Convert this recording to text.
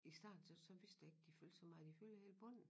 I starten så vidste jeg ikke de fyldte så meget de fylder hele bunden